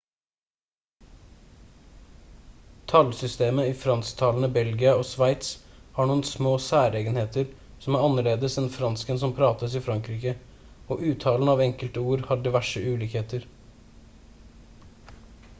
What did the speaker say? tallsystemet i fransktalende belgia og sveits har noen små særegenheter som er annerledes enn fransken som prates i frankrike og uttalen av enkelte ord har diverse ulikheter